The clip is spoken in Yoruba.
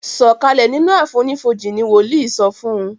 sọ Kalẹ sínú àfonífojì! ní woli sọfún